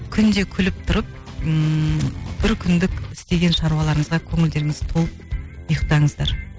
күнде күліп тұрып ммм бір күндік істеген шаруаларыңызға көңілдеріңіз толып ұйқтаңыздар